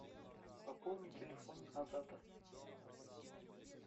пополни телефон азата